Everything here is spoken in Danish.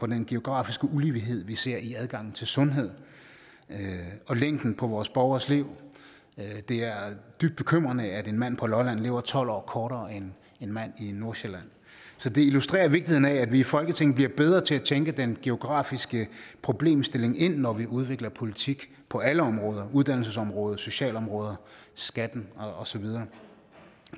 den geografiske ulighed vi ser i adgangen til sundhed og længden på vores borgeres liv det er dybt bekymrende at en mand på lolland lever tolv år kortere end en mand i nordsjælland så det illustrerer vigtigheden af at vi i folketinget bliver bedre til at tænke den geografiske problemstilling ind når vi udvikler politik på alle områder uddannelsesområdet socialområdet skatten og så videre